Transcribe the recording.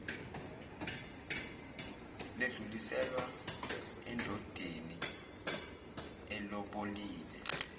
ledluliselwa endodeni elobolile